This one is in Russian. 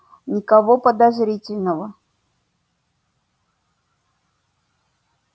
никого подозрительного